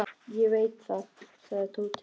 Ég veit það, sagði Tóti.